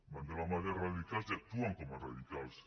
van de la mà dels radicals i actuen com els radicals